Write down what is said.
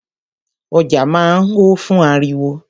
Ọjà máa ń ho fún ariwo.